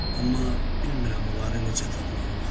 Amma bilmirəm onları necə tapmaq olar.